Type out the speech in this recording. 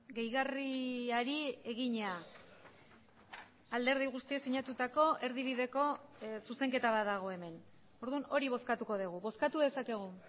gehigarriari egina alderdi guztiek sinatutako erdibideko zuzenketa bat dago hemen orduan hori bozkatuko dugu bozkatu dezakegu